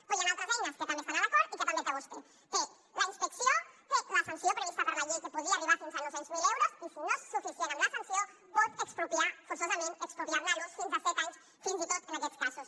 però hi han altres eines que també estan a l’acord i que també té vostè té la inspecció té la sanció prevista per la llei que podria arribar fins a nou cents miler euros i si no és suficient amb la sanció pot expropiar forçosament expropiar ne l’ús fins a set anys fins i tot en aquests casos